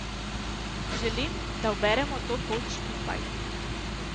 Želim, da uberemo to pot skupaj.